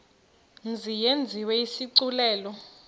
mzi yenziwe isigculelo